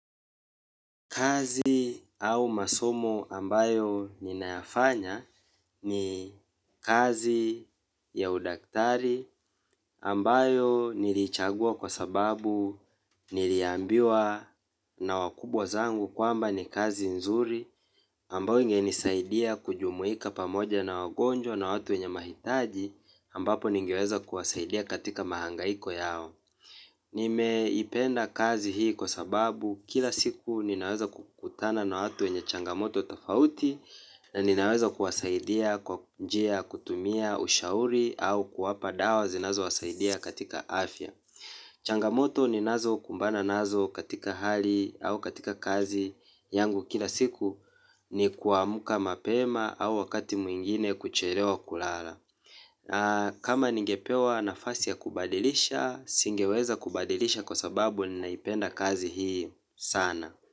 Kazi au masomo ambayo ninafanya ni kazi ya udaktari ambayo nilichagua kwa sababu niliambiwa na wakubwa zangu kwamba ni kazi nzuri ambayo ingenisaidia kujumuika pamoja na wagonjwa na watu wenye mahitaji ambapo ningeweza kuwasaidia katika mahangaiko yao. Nimeipenda kazi hii kwa sababu kila siku ninaweza kukutana na watu wenye changamoto tofauti na ninaweza kuwasaidia kwa njia kutumia ushauri au kuwapa dawa zinazowasaidia katika afya. Changamoto ninazo kumbana nazo katika hali au katika kazi yangu kila siku ni kuamka mapema au wakati mwingine kuchelewa kulala. Kama ningepewa nafasi ya kubadilisha, singeweza kubadilisha kwa sababu ninaipenda kazi hii sana.